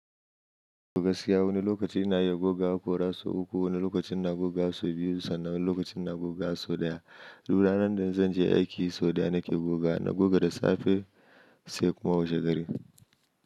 Gogasiya wani lokaci ina iya goga ko ra so uku, wani lokacin na goga so biyu sannan wani lokacin na goga so ɗaya. Du ranar da zan je aiki so ɗaya nake goga. Na goga da safe sai kuma washe gari.